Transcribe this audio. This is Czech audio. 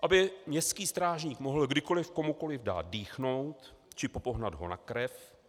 Aby městský strážník mohl kdykoliv komukoliv dát dýchnout či popohnat ho na krev?